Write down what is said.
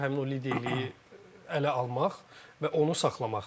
Həmin o liderliyi ələ almaq və onu saxlamaq.